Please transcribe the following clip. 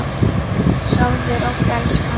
Sofðu rótt elskan.